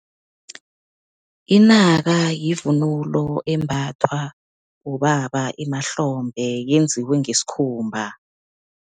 Inaka, yivunulo embathwa bobaba emahlombe, yenziwe ngesikhumba.